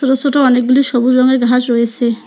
ছোট ছোট অনেকগুলি সবুজ রঙের ঘাস রয়েসে ।